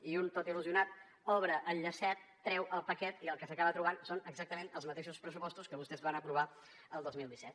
i un tot il·lusionat obre el llacet treu al paquet i el que s’acaba trobant són exactament els mateixos pressupostos que vostès van aprovar el dos mil disset